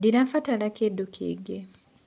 Ndĩrabatara kĩndũ kĩngĩ.